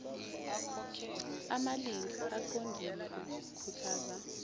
amalinge aqondile okukhuthaza